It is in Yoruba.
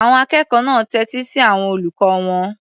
Àwọn akẹ́kọ̀ọ́ náà tẹ́tí sí àwọn olùkọ́ wọn.